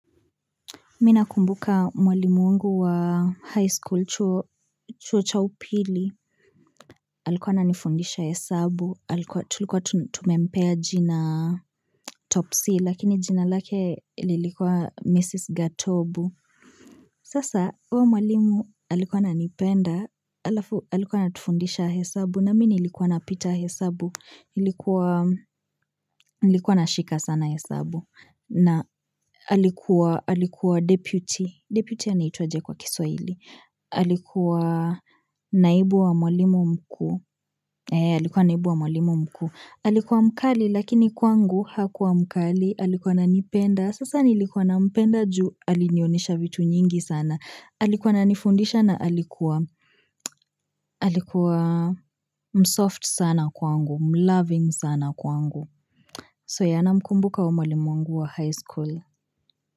Mimi nakumbuka mwalimu wangu wa high school chuo cha upili. Alikuwa ananifundisha hesabu. Tulikuwa tumempea jina topsy lakini jina lake ililikwa Mrs. Gatobu. Sasa, huyo mwalimu alikuwa ananipenda. Alafu alikuwa anatufundisha hesabu. Na mimi nilikuwa na pita hesabu. Nilikuwa na shika sana hesabu. Na alikuwa deputy. Deputy anaitwa aje kwa kiswahili. Alikuwa naibu wa mwalimu mkuu Alikuwa naibu wa mwalimu mkuu Alikuwa mkali lakini kwangu hakuwa mkali Alikuwa ananipenda Sasa nilikuwa na mpenda juu Alinionyesha vitu nyingi sana Alikuwa na nifundisha na alikuwa Alikuwa msoft sana kwangu Mloving sana kwangu So ya na mkumbuka uyo mwalimu mwangu wa high school.